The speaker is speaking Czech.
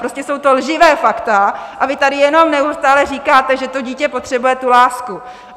Prostě jsou to lživá fakta a vy tady jenom neustále říkáte, že to dítě potřebuje tu lásku.